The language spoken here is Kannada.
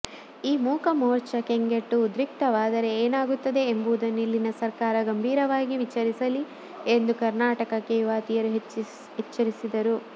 ಈ ಮೂಕ ಮೋರ್ಚಾ ಕೆಂಗೆಟ್ಟು ಉದ್ರಿಕ್ತವಾದರೆ ಏನಾಗುತ್ತದೆ ಎನ್ನುವುದನ್ನು ಇಲ್ಲಿನ ಸರಕಾರ ಗಂಭೀರವಾಗಿ ವಿಚಾರಿಸಲಿ ಎಂದು ಕರ್ನಾಟಕಕ್ಕೆ ಯುವತಿಯರು ಎಚ್ಚರಿಸಿದರು